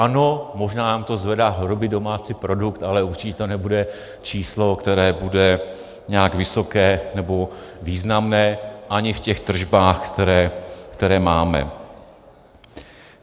Ano, možná nám to zvedá hrubý domácí produkt, ale určitě to nebude číslo, které bude nějak vysoké nebo významné ani v těch tržbách, které máme.